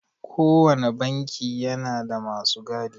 Kowanne banki yana da masu gadi.